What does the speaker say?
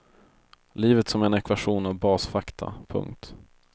Livet som en ekvation av basfakta. punkt